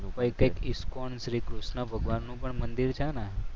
ફરી કંઈક ઇસ્કોન શ્રી કૃષ્ણ ભગવાનનું પણ મંદિર છે ને?